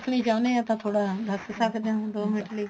ਤੁਸੀਂ ਚਾਹੁੰਦੇ ਹੋ ਤਾਂ ਥੋੜਾ ਦੱਸ ਸਕਦੇ ਹੋ ਦੋ ਮਿੰਟ ਲਈ